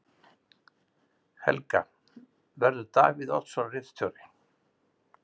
Helga: Verður Davíð Oddsson ritstjóri?